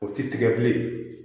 O ti tigɛ bilen